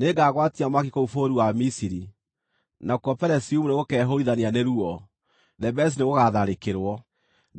Nĩngagwatia mwaki kũu bũrũri wa Misiri, nakuo Pelusiumu nĩgũkeehũũrithania nĩ ruo. Thebesi nĩgũgatharĩkĩrwo.